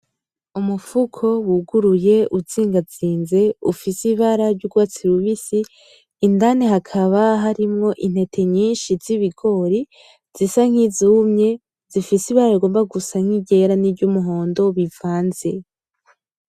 Umufuko wuguruye uzingazinze ufise ibara ry'urwatsi rubisi, indani hakaba harimwo intete nyinshi zibigori zisa nkizumye, zifise ibara rigomba gusa nkiryera niryumuhondo bivanze.